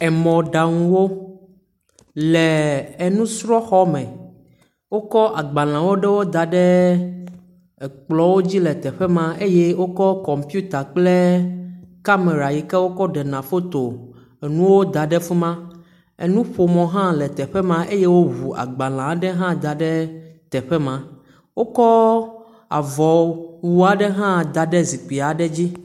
Emɔɖaŋuwo. Le enusrɔ̃xɔme. Wokɔ agbalẽwo ɖewo da ɖe ekplɔ̃wo dzi le teƒe ma eye wokɔ kɔmpiuta kple kamera yi ke wokɔ ɖena foto enuwo da ɖe fi ma. Enuƒomɔ hã le teƒe ma eye woŋu agbalẽa ɖe hã da ɖe teƒe ma. Wokɔ avɔwu aɖe hã da ɖe zikpi ɖe dzi.